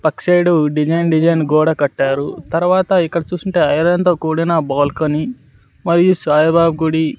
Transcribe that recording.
పక్ side design design గోడ కట్టారు తర్వాత ఇక్కడ చూసుంటే ఐరన్ తో కూడిన బాల్కనీ మరియు సాయిబాబా గుడి.